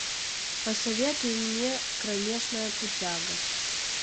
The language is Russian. посоветуй мне кромешная путяга